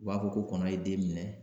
U b'a fɔ ko kɔnɔ ye den minɛ